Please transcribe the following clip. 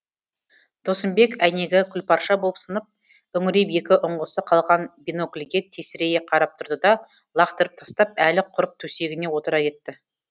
досымбек әйнегі күлпарша болып сынып үңірейіп екі ұңғысы қалған бинокльге тесірейе қарап тұрды да лақтырып тастап әлі құрып төсегіне отыра кетті